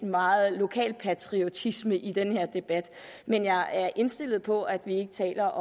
meget lokalpatriotisme i den her debat men jeg er indstillet på at vi ikke taler